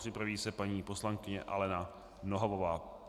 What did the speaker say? Připraví se paní poslankyně Alena Nohavová.